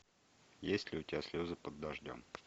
есть ли у тебя слезы под дождем